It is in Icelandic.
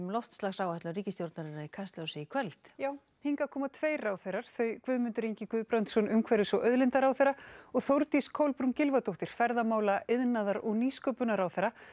loftslagsáætlun ríkisstjórnarinnar í Kastljósi í kvöld já hingað koma tveir ráðherrar þau Guðmundur Ingi Guðbrandsson umhverfis og auðlindaráðherra og Þórdís Kolbrún Gylfadóttir ferðamála iðnaðar og nýsköpunarráðherra